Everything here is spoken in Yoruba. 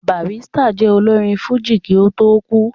Barrister jẹ́ olórin fújì kí ó tó kú